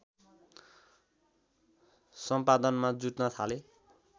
सम्पादनमा जुट्न थाले